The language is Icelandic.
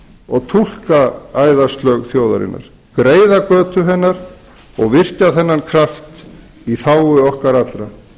og túlka æðaslög þjóðarinnar greiða götu hennar og virkja þennan kraft í þágu okkar allra